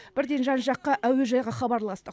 бірден жан жаққа әуежайға хабарластық